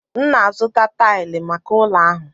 M na-azụta taịlị maka ụlọ ahụ.